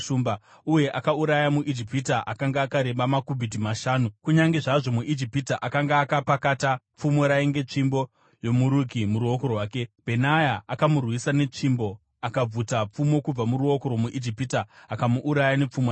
Uye akauraya muIjipita akanga akareba makubhiti mashanu . Kunyange zvazvo muIjipita akanga akapakata pfumo rainge tsvimbo yomuruki muruoko rwake, Bhenaya akamurwisa netsvimbo. Akabvuta pfumo kubva muruoko rwomuIjipita akamuuraya nepfumo rake.